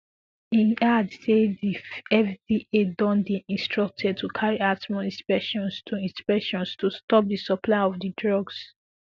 e add say di fda don dey instructed to carry out more inspections to inspections to stop di supply of di drugs